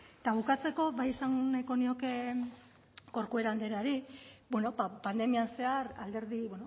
eta bukatzeko bai esan nahiko nioke corcuera andreari bueno pandemian zehar alderdi